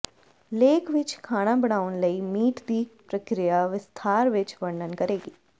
ਲੇਖ ਵਿਚ ਖਾਣਾ ਬਣਾਉਣ ਲਈ ਮੀਟ ਦੀ ਪ੍ਰਕਿਰਿਆ ਵਿਸਥਾਰ ਵਿੱਚ ਵਰਣਨ ਕਰੇਗੀ